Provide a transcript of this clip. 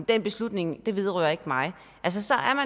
den beslutning vedrører ikke mig så